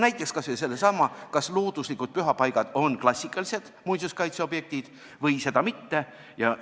Näiteks kas või seesama, kas looduslikud pühapaigad on klassikalised muinsuskaitseobjektid või seda mitte?